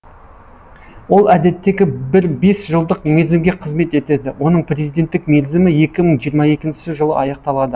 ол әдеттегі бір бес жылдық мерзімге қызмет етеді оның президенттік мерзімі екі мың жиырма екінші жылы аяқталады